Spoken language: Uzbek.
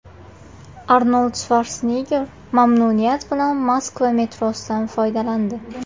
Arnold Shvarsenegger mamnuniyat bilan Moskva metrosidan foydalandi.